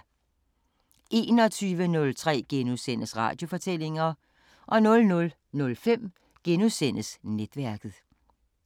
21:03: Radiofortællinger * 00:05: Netværket *